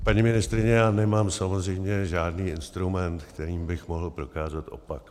Paní ministryně, já nemám samozřejmě žádný instrument, kterým bych mohl prokázat opak.